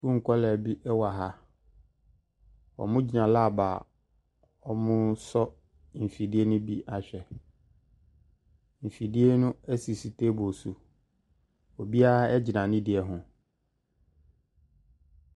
Nkwadaa bi wɔ ha. Wɔgyina lab a wɔresɔ mfidie no bi ahwɛ. Mfidie no sisi table so. Obiara gyina ne deɛ ho.